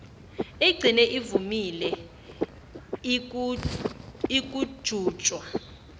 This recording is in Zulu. igcine ivumile ukujutshwa